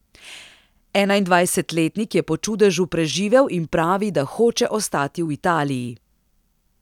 Enaindvajsetletnik je po čudežu preživel in pravi, da hoče ostati v Italiji.